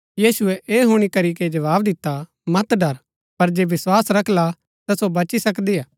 यीशुऐ ऐह हुणी करीके जवाव दिता मत डर पर जे विस्वास रखला ता सो बची सकदिआ